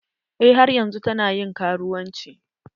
Eh har yanzun ta na ƴin karuwanci.